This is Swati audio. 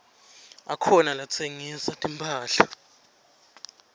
akhona latsengisa timphahla